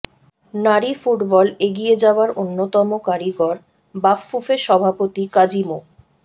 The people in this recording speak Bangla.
নারী ফুটবল এগিয়ে যাওয়ার অন্যতম কারিগর বাফুফে সভাপতি কাজী মো